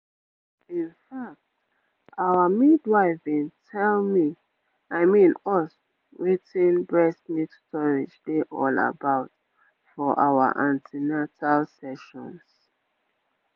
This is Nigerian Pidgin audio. in fact our midwife been tell me i mean us wetin breast milk storage dey all about for our an ten atal sessions